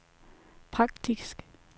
praktisk